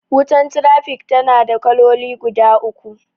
Wutan trafik tana da kaloli guda uku.